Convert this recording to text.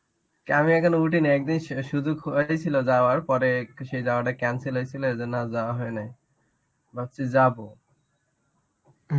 আমি এখনো উঠিনি একদিন শু~ শুধু খোয়ারই ছিল যাওয়ার, পরে সেই জায়গাটা cancel হয়েছিল ওই জন্য আর যাওয়া হয় নাই. ভাবছি যাবো.